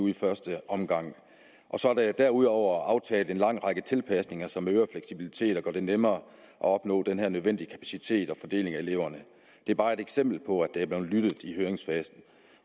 i første omgang og så er der derudover aftalt en lang række tilpasninger som øger fleksibiliteten og gør det nemmere at opnå den her nødvendige kapacitet og fordeling af eleverne det er bare et eksempel på at der er blevet lyttet i høringsfasen